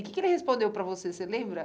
E o que que ele respondeu para você, você lembra?